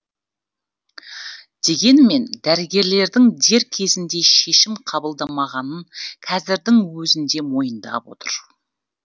дегенмен дәрігерлердің дер кезінде шешім қабылдамағанын қазірдің өзінде мойындап отыр